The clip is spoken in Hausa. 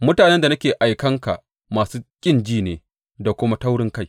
Mutanen da nake aikan ka masu ƙin ji ne da kuma taurinkai.